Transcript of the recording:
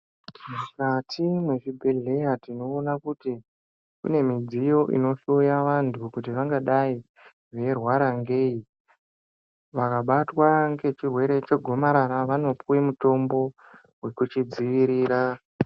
Mukati mwezvibhedhleya tinoona kuti mune zvidziyo zvinohloya vantu kuti vangadai veirwara ngei. Vakabatwa ngechirwere chegomarara vanopuve mutombo vekuchidzivirira.